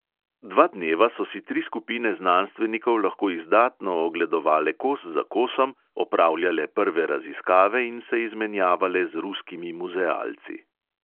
Dva dneva so si tri skupine znanstvenikov lahko izdatno ogledovale kos za kosom, opravljale prve raziskave in se izmenjavale z ruskimi muzealci.